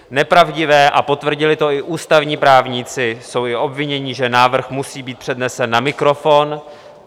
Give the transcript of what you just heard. Nepravdivé, a potvrdili to i ústavní právníci, jsou i obvinění, že návrh musí být přednesen na mikrofon.